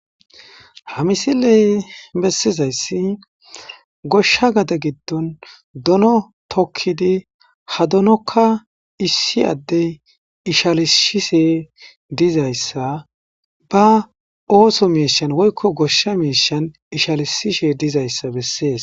Ha misiley besizaysi goshsha gade giddon dono tokkidi ha donoka issi addey ishalisishe dizayssa ba ooso miishan woykko goshsha miishan ishalisishe dizayssa besees.